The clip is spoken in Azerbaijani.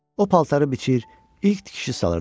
O paltarı biçir, ilk tikişi salırdı.